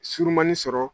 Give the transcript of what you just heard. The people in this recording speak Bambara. Surumanni sɔrɔ